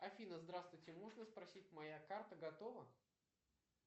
афина здравствуйте можно спросить моя карта готова